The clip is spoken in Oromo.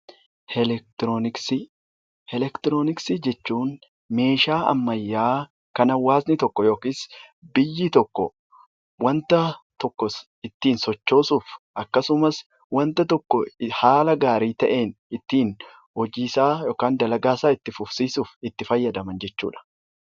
Eleektirooniksii Eleektirooniksii jechuun meeshaa ammayyaa kan hawaasni tokko yookiin biyyi tokko waan tokko ittiin sochoosuuf akkasumas waan tokko haala gaarii ta'een ittiin hojii isaa yookaan dalagaa isaa itti fufsiisuuf itti fayyadaman jechuudha.